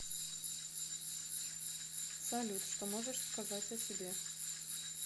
салют что можешь сказать о себе